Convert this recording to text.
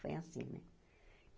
Foi assim, né?